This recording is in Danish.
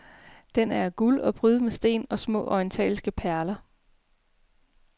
Den er af guld og prydet med sten og små orientalske perler.